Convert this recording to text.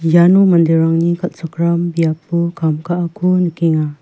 iano manderangni kal·chakram biapo kam ka·ako nikenga.